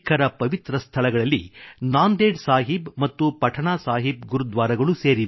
ಅಂತೆಯೇ ಸಿಖ್ಖರ ಪವಿತ್ರ ಸ್ಥಳಗಳಲ್ಲಿ ನಾಂದೇಡ್ ಸಾಹಿಬ್ ಮತ್ತು ಪಠನಾ ಸಾಹಿಬ್ ಗುರುದ್ವಾರಗಳೂ ಸೇರಿವೆ